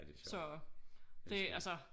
Så det altså